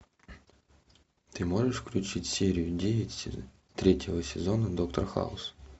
ты можешь включить серию девять третьего сезона доктор хаус